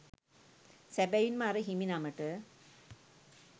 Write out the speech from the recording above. සැබැවින්ම අර හිමිනමට